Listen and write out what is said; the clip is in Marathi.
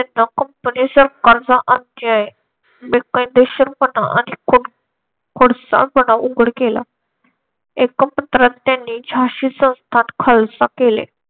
कंपनी सरकारचा अध्याय बेकायदेशीरपणा आणि खोड खोडसाळपणा उघड केला एका पत्रात त्यांनी झाशी संस्थान खालसा केले.